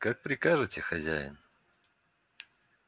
как прикажете хозяин